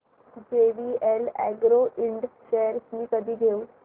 JVL agro Ind shares मी कधी घेऊ